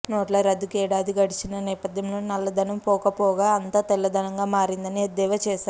నోట్ల రద్దుకు ఏడాది గడిచిన నేపథ్యంలో నల్లధనం పోకపోగా అంతా తెల్లధనంగా మారిందని ఎద్దేవా చేశారు